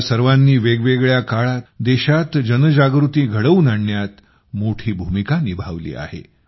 या सर्वांनी वेगवेगळ्या काळात देशात जनजागृती घडवून आणण्यात मोठी भूमिका निभावली आहे